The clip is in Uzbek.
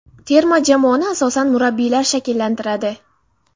Terma jamoani asosan murabbiylar shakllantiradi.